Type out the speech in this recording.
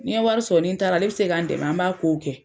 Ni n ye wari sɔrɔ ni n taara ale bɛ se ka n dɛmɛ an b'a kow kɛ.